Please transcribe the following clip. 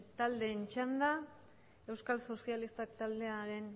taldeen txanda euskal sozialistak taldearen